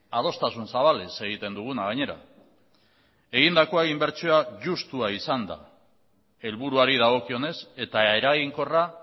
adostasun zabalez egiten duguna gainera egindakoa inbertsioa justua izan da helburuari dagokionez eta eraginkorra